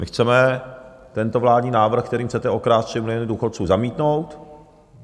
My chceme tento vládní návrh, kterým chcete okrást 3 miliony důchodců, zamítnout.